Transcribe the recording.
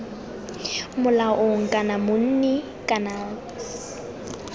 molaong kana monni kana c